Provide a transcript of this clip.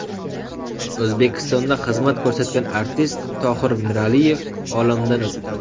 O‘zbekistonda xizmat ko‘rsatgan artist Tohir Miraliyev olamdan o‘tdi.